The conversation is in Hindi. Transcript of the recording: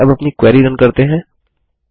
चलिए अब अपनी क्वेरी रन करते हैं